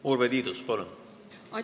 Urve Tiidus, palun!